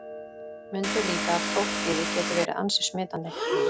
Mundu líka að prófkvíði getur verið ansi smitandi.